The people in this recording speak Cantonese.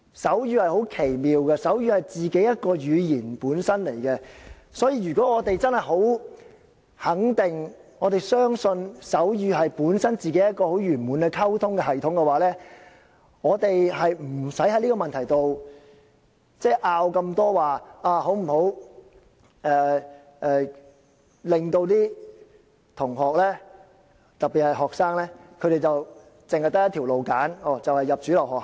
手語是很奇妙的，它本身是一種語言，如果我們真的很肯定、相信手語本身是一個很完滿的溝通系統的話，我們就不用在這個問題上有這麼多爭拗，說應否讓學生只可選擇一種途徑，就是入讀主流學校。